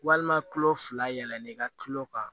Walima kulo fila yɛlɛnnen ka tulo kan